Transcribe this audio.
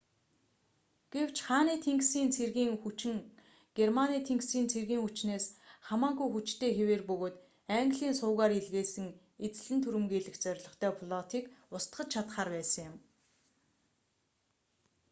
гэвч хааны тэнгисийн цэргийн хүчин германы тэнгисийн цэргийн хүчнээс кригсмаринь хамаагүй хүчтэй хэвээр бөгөөд английн сувгаар илгээсэн эзлэн түрэмгийлэх зорилготой флотыг устгаж чадахаар байсан юм